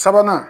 Sabanan